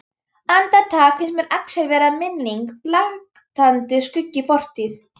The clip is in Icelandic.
Andartak finnst mér Axel vera minning, blaktandi skuggi í fortíð.